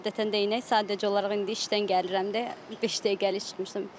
Adətən də eynək, sadəcə olaraq indi işdən gəlirəm də beş dəqiqəlik çıxmışdım.